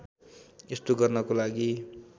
यस्तो गर्नको लागि